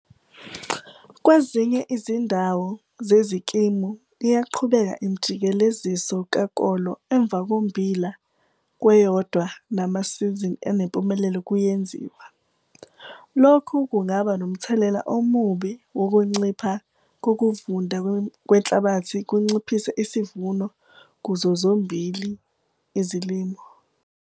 Kwezinye izindawo zezikimu iyaqhubeka imijikeleziso kakolo emva kombila kweyodwa namasizini anempumelelo kuyenziwa. Lokhu kungaba nomthelela omubi wokuncipha kokuvunda kwenhlabathi kunciphise isivuno kuzo zozimbili izilimo.